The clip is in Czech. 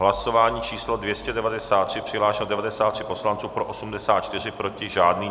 Hlasování číslo 293, přihlášeno 93 poslanců, pro 84, proti žádný.